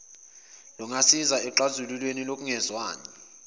lingasiza ekuxazululeni kokungezwani